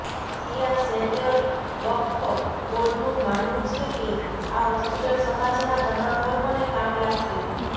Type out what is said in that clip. શિયા Central Waqf બોર્ડનું માનવું છે કે આ હોસ્પિટલ સમાજના તમામ વર્ગોને કામ લાગશે